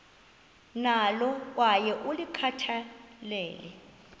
nalo kwaye ulikhathalele